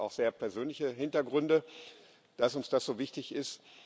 Das hat auch sehr persönliche Hintergründe, dass uns das so wichtig ist.